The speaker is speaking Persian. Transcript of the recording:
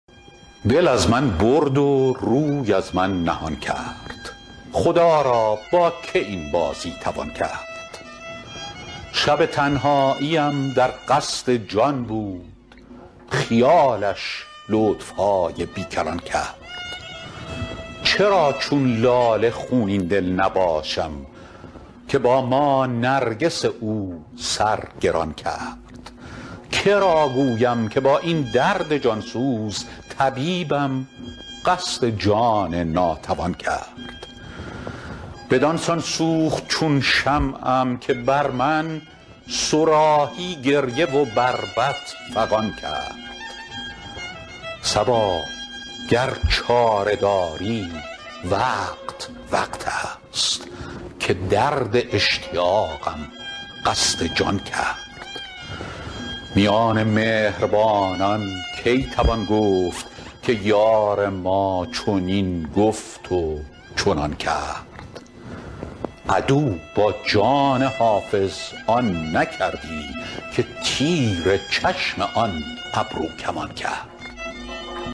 دل از من برد و روی از من نهان کرد خدا را با که این بازی توان کرد شب تنهاییم در قصد جان بود خیالش لطف های بی کران کرد چرا چون لاله خونین دل نباشم که با ما نرگس او سر گران کرد که را گویم که با این درد جان سوز طبیبم قصد جان ناتوان کرد بدان سان سوخت چون شمعم که بر من صراحی گریه و بربط فغان کرد صبا گر چاره داری وقت وقت است که درد اشتیاقم قصد جان کرد میان مهربانان کی توان گفت که یار ما چنین گفت و چنان کرد عدو با جان حافظ آن نکردی که تیر چشم آن ابروکمان کرد